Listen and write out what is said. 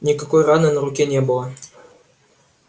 никакой раны на руке не было